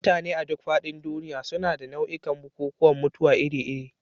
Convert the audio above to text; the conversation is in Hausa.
Mutane a duk faɗin duniya suna da nau'ikan bukukuwan mutuwa iri-iri.